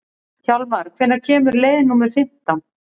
Hjálmar, hvenær kemur leið númer fimmtán?